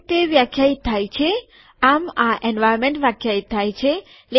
આ રીતે તે વ્યાખ્યાયિત થાય છે આમ આ એન્વાર્નમેન્ટ વ્યાખ્યાયિત થાય છે